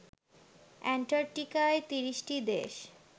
অ্যান্টার্কটিকায় তিরিশটি দেশ